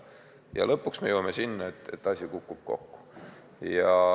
Ja lõpuks me jõuame sinna, et asi kukub kokku.